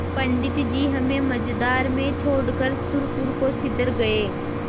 पंडित जी हमें मँझधार में छोड़कर सुरपुर को सिधर गये